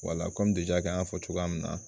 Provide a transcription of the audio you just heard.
Wala kɔmi ja an y'a fɔ cogoya min na